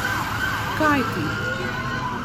Kajti!